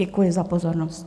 Děkuji za pozornost.